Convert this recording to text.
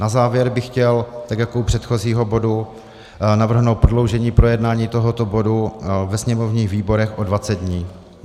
Na závěr bych chtěl tak jako u předchozího bodu navrhnout prodloužení projednání tohoto bodu ve sněmovních výborech o 20 dní.